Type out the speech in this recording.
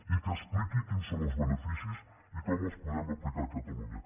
i que expliqui quins són els beneficis i com els podem aplicar a catalunya